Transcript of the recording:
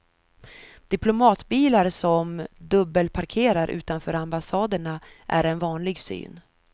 Diplomatbilar som dubbelparkerar utanför ambassaderna är en vanlig syn.